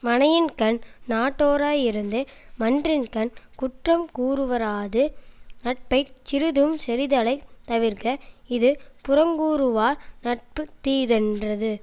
மனையின்கண் நட்டோராயிருந்து மன்றின்கண் குற்றம் கூறுவாராது நட்பைச் சிறிதும் செறிதலைத் தவிர்க இது புறங்கூறுவார் நட்பு தீதென்றது